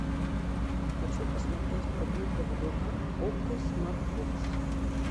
хочу посмотреть прогулка в облаках окко смартбокс